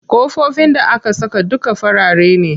Ƙofofin da aka saka duka farare ne.